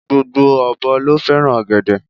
Gbogbo ọ̀bọ ló fẹ́ràn ọ̀gẹ̀dẹ̀